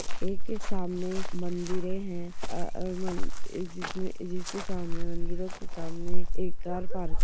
एक-एक सामने मंदिरे है अ-अ म जिसमे जिसके सामने मंदिरो के सामने एक कार पार्क --